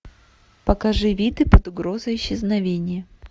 покажи виды под угрозой исчезновения